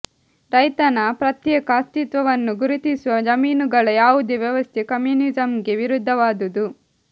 ರೈತನ ಪ್ರತ್ಯೇಕ ಅಸ್ತಿತ್ವವನ್ನು ಗುರುತಿಸುವ ಜಮೀನುಗಳ ಯಾವುದೇ ವ್ಯವಸ್ಥೆ ಕಮ್ಯುನಿಸಮ್ಗೆ ವಿರುದ್ಧವಾದುದು